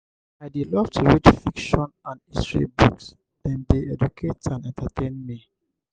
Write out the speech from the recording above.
i dey love to read fiction and history books dem dey educate and entertain me.